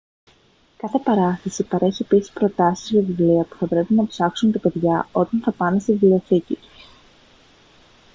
κάθε παράσταση παρέχει επίσης προτάσεις για βιβλία που θα πρέπει να ψάξουν τα παιδιά όταν θα πάνε στη βιβλιοθήκη τους